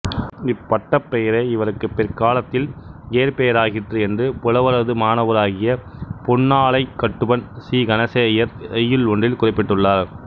இப்பட்டப் பெயரே இவருக்கு பிற்காலத்தில் இயற்பெயராகிற்று என்று புலவரது மாணவராகிய புன்னாலைக் கட்டுவன் சி கணேசையர் செய்யுள் ஒன்றில் குறிப்பிட்டுள்ளார்